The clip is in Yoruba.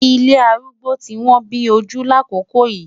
Ilé arúgbó ti wọ́n bí ojú lákòókò yìí.